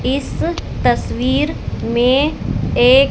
इस तस्वीर में एक--